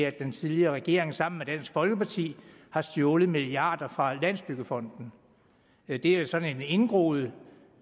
at den tidligere regering sammen med dansk folkeparti har stjålet milliarder fra landsbyggefonden det er sådan en indgroet